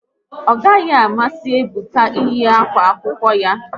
Ọ naghị amasị Ebuka eyi akwa akwụkwọ ya